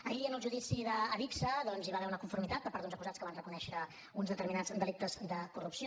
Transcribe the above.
ahir en el judici d’adigsa doncs hi va haver una conformitat per part d’uns acusats que van reconèixer uns determinats delictes de corrupció